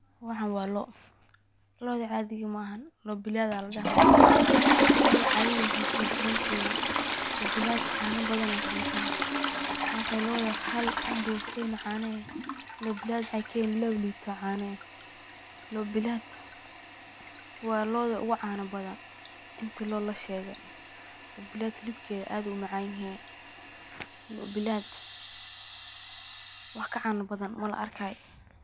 Waxaan waa loo, looda caadiga maahan loo bilaad waye, waxaay ooga duwan tahay caanaha badan, hilibkeeda aad ayuu umacan yahay, loo bilaad wax ka caana badan mala arkaayo.